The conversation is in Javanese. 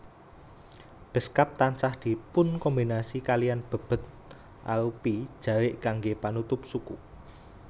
Beskap tansah dipunkombinasi kaliyan bebed arupi jarik kanggé panutup suku